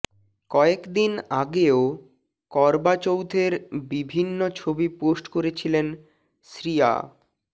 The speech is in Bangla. কয়েকদিন আগেও করবা চৌথের বিভিন্ন ছবি পোস্ট করেছিলেন শ্রিয়া